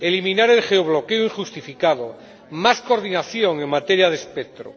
eliminar el geobloqueo injustificado, más coordinación en materia de espectro.